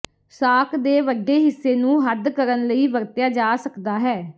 ਸਾਕ ਦੇ ਵੱਡੇ ਹਿੱਸੇ ਨੂੰ ਹੱਦ ਕਰਨ ਲਈ ਵਰਤਿਆ ਜਾ ਸਕਦਾ ਹੈ